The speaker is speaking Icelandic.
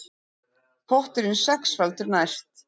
Potturinn sexfaldur næst